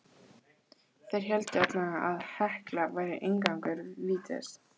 Þeir héldu allavega að Hekla væri inngangur vítis.